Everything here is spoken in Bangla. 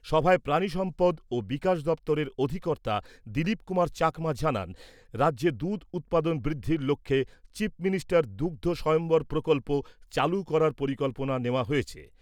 সভায় প্রাণী সম্পদ ও বিকাশ দপ্তরের অধিকর্তা দিলীপ কুমার চাকমা জানান , রাজ্যে দুধ উৎপাদন বৃদ্ধির লক্ষ্যে চিফ মিনিষ্টার দুগ্ধ স্বয়ম্ভর প্রকল্প ' চালু করার পরিকল্পনা নেওয়া হয়েছে ।